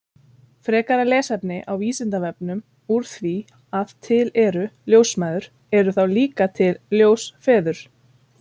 Frekara lesefni á Vísindavefnum Úr því að til eru ljósmæður, eru þá líka til ljósfeður?